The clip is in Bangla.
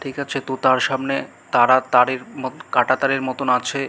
ঠিক আছে তো তার সামনে তারা তারের মত কাঁটা তাঁরের মতো আছে।